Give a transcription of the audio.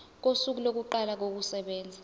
kosuku lokuqala kokusebenza